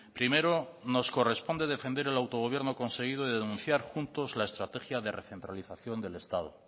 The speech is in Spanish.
primero nos corresponde defender el autogobierno conseguido de denunciar juntos la estrategia de recentralización del estado